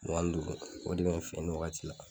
Mugan ni duuru o de bɛ an fɛ nin wagati la